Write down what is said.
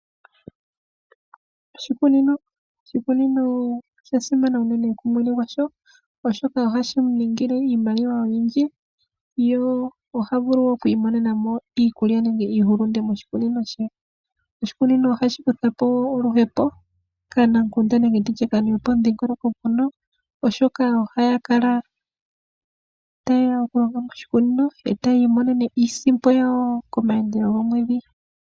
Oshikunino osha simana unene tuu kumwene gwasho oshoka ohashi mu ningile iimaliwa oyindji ye oha vulu okwiimonena mo iikulya nenge iihulunde moshikunino she. Oshikunino ohashi kutha po oluhepo kaanamukunda nenge tu tye kaantu yopomudhingoloko mpono, oshoka ohaya kala taya longo moshikunino mono, e taya imonene mo iisimpo yawo komayandelo gomwedhi.